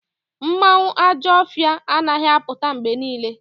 Mmanwu Ajo ofia anaghi aputa mgbe niile